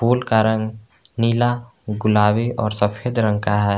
फूल का रंग नीला गुलाबी और सफेद रंग का है।